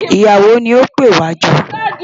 Ìyàwó ni ó pè wá jọ.